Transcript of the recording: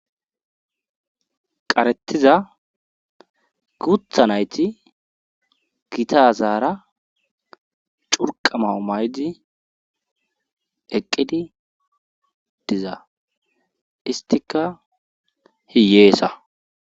qaretiza gutha nayti gitazaara curqama'u maydi eqqidi diza istika hiyeesa